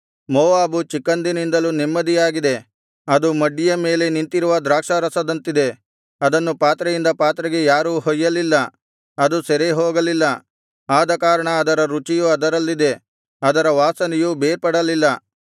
Moab ಚಿಕ್ಕಂದಿಂದಲೂ ನೆಮ್ಮದಿಯಾಗಿದೆ ಅದು ಮಡ್ಡಿಯ ಮೇಲೆ ನಿಂತಿರುವ ದ್ರಾಕ್ಷಾರಸದಂತಿದೆ ಅದನ್ನು ಪಾತ್ರೆಯಿಂದ ಪಾತ್ರೆಗೆ ಯಾರೂ ಹೊಯ್ಯಲಿಲ್ಲ ಅದು ಸೆರೆಹೋಗಲಿಲ್ಲ ಆದಕಾರಣ ಅದರ ರುಚಿಯು ಅದರಲ್ಲಿದೆ ಅದರ ವಾಸನೆಯು ಬೇರ್ಪಡಲಿಲ್ಲ